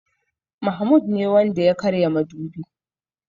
Mahmoud ne Wanda ya karya madubi.